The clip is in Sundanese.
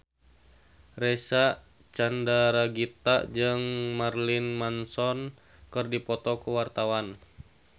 Reysa Chandragitta jeung Marilyn Manson keur dipoto ku wartawan